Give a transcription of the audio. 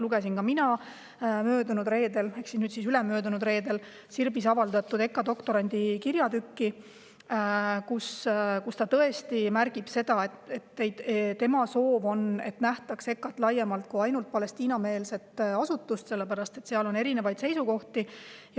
Lugesin ka mina möödunud reedel ehk nüüdseks ülemöödunud reedel Sirbis avaldatud EKA doktorandi kirjatükki, kus ta tõesti märgib seda, et tema soov on, et EKA-t nähtaks laiemalt kui ainult Palestiina-meelset asutust, sest seal on erinevaid seisukohti.